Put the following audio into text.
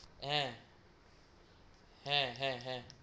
হা হা হা